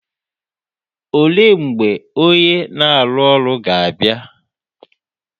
Olee mgbe onye na-arụ ọrụ ga-abịa?